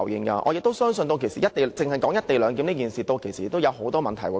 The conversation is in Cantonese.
我也相信，單是"一地兩檢"，屆時已會衍生很多問題。